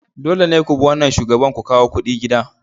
Dole ne ku bi wannan shugaban ku kawo kudi gida.